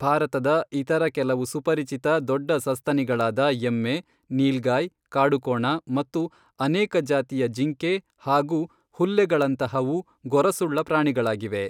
ಭಾರತದ ಇತರ ಕೆಲವು ಸುಪರಿಚಿತ ದೊಡ್ಡ ಸಸ್ತನಿಗಳಾದ ಎಮ್ಮೆ, ನೀಲ್ಗಾಯ್, ಕಾಡುಕೋಣ ಮತ್ತು ಅನೇಕ ಜಾತಿಯ ಜಿಂಕೆ ಹಾಗೂ ಹುಲ್ಲೆಗಳಂತಹವು ಗೊರಸುಳ್ಳ ಪ್ರಾಣಿಗಳಾಗಿವೆ.